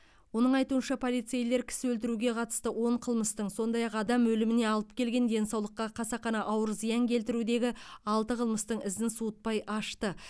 оның айтуынша полицейлер кісі өлтіруге қатысты он қылмыстың сондай ақ адам өліміне алып келген денсаулыққа қасақана ауыр зиян келтірудегі алты қылмыстың ізін суытпай ашты